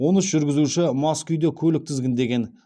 он үш жүргізуші мас күйде көлік тізгіндеген